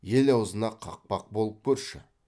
ел аузына қақпақ болып көрші